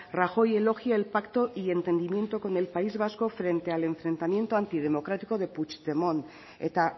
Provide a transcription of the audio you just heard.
rajoy elogia el pacto y entendimiento con el país vasco frente al enfrentamiento antidemocrático de puigdemont eta